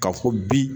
Ka fɔ bi